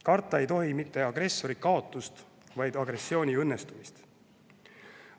Karta ei tohi mitte agressori kaotust, vaid agressiooni õnnestumist.